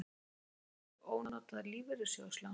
Átti ekki einhver ónotað lífeyrissjóðslán?